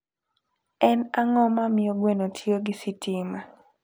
En ang'o mamiyo gweno tiyo gi sitima?